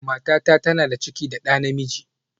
Matata tana da ciki da ɗa namiji